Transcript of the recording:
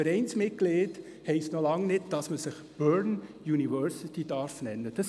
Vereinsmitglied zu sein, heisst noch lange nicht, dass man sich «Bern University» nennen darf.